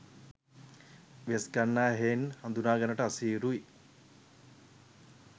වෙස්ගන්නා හෙයින් හඳුනාගන්නට අසීරුයි.